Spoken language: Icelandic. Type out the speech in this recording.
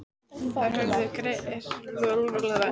Þær höfðu hreinlega horfið úr vörslu Lárusar.